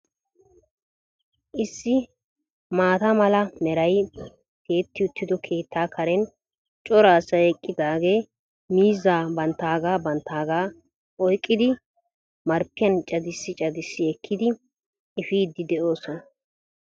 Issi maata mala meray tiyetti uttido keettaa Karen cora asay eqqidaagee miizzaa banttaagaa banttaagaa oyiqqidi marppiyan cadissi cadissi ekkidi eppiiddi de'oosona.